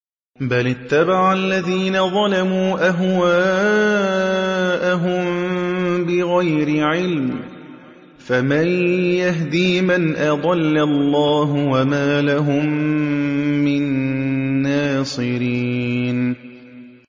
بَلِ اتَّبَعَ الَّذِينَ ظَلَمُوا أَهْوَاءَهُم بِغَيْرِ عِلْمٍ ۖ فَمَن يَهْدِي مَنْ أَضَلَّ اللَّهُ ۖ وَمَا لَهُم مِّن نَّاصِرِينَ